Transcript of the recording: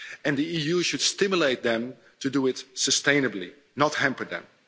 The EU should stimulate them to do it sustainably, not hamper them.